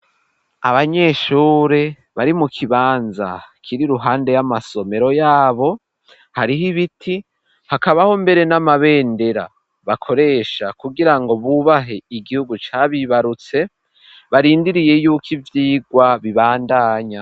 Abanyeshure bari mu kibanza kiri ruhande y'amasomero yabo hariho ibiti hakabaho mbere n'amabendera bakoresha kugira ngo bubahe igihugu cabibarutse barindiriye yuko ivyigwa bibandanya.